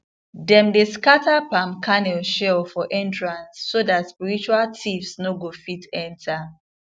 dem dey scatter palm kernel shell for entrance so that spiritual thieves no go fit enter